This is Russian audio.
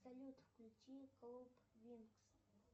салют включи клуб винкс